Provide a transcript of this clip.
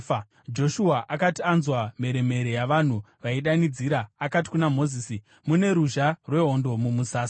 Joshua akati anzwa mheremhere yavanhu vaidanidzira, akati kuna Mozisi, “Mune ruzha rwehondo mumusasa.”